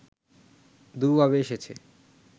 দুভাবে এসেছে